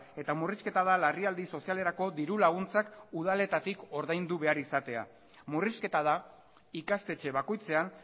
eta murrizketa da larrialdi sozialerako dirulaguntzak udaletatik ordaindu behar izatea murrizketa da ikastetxe bakoitzean